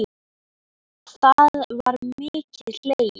Það var mikið hlegið.